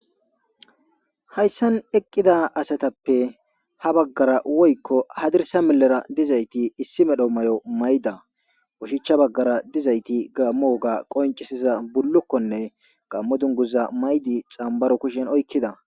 Hayssan eqqida asathappe habagara woykko haddirssa milleera dizaythi issi medho mayo mayida oshichcha baggaara dizaythi gaammoga qonccisiza bullukkuwanne gaammo dungguzzaa mayidi tssambbaro kushiyan oykkida.